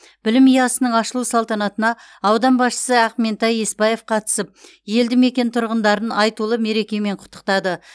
білім ұясының ашылу салтанатына аудан басшысы ақментай есбаев қатысып елді мекен тұрғындарын айтулы мерекемен құттықтады